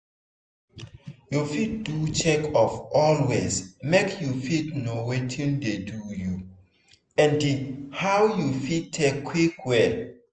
you fit do checkup always make you fit know watin dey do you and how you fit take quick well.